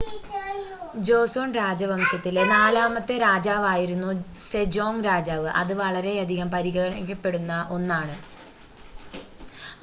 Joseon രാജവംശത്തിലെ നാലാമത്തെ രാജാവായിരുന്നു സെജോംഗ് രാജാവ് അത് വളരെയധികം പരിഗണിക്കപ്പെടുന്ന 1 ആണ്